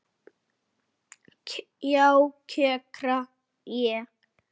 Já, kjökra ég.